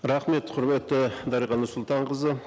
рахмет құрметті дариға нұрсұлтанқызы